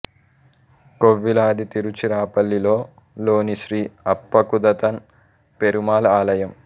కోవిల్లాది తిరుచిరాపల్లి లో లోని శ్రీ అప్పక్కుదథన్ పెరుమాళ్ ఆలయం